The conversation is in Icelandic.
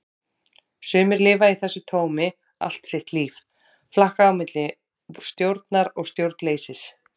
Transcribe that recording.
Sumir lifa í þessu tómi allt sitt líf, flakka á milli stjórnar og stjórnleysis.